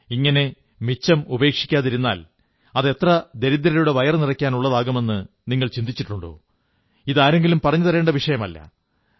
ഇങ്ങനെ മിച്ചം ഉപേക്ഷിക്കാതിരുന്നാൽ അത് എത്ര ദരിദ്രരുടെ വയറുനിറയ്ക്കാനുള്ളതുണ്ടാകുമെന്നു ചിന്തിച്ചിട്ടുണ്ടോ ഇത് ആരെങ്കിലും പറഞ്ഞു തരേണ്ട വിഷയമല്ല